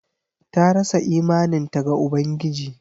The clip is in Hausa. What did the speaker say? Ta rasa imaninta ga Ubangiji.